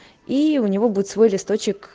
и у него будет свой листочек